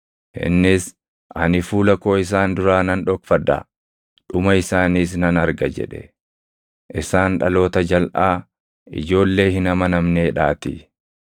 Innis, “Ani fuula koo isaan duraa nan dhokfadha; dhuma isaaniis nan arga” jedhe; isaan dhaloota jalʼaa, ijoollee hin amanamneedhaatii.